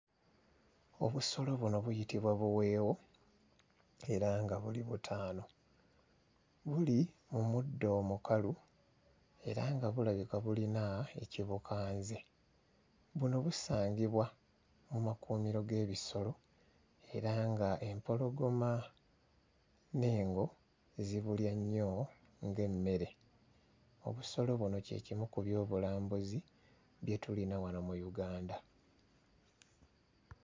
Obusolo buno buyitibwa buweewo era nga buli butaano buli mu muddo omukalu era nga bulabika bulina ekibukanze buno busangibwa mu makuumiro g'ebisolo era nga empologoma n'engo zibulya nnyo ng'emmere. Obusolo buno kye kimu ku byobulambuzi bye tulina wano mu Uganda.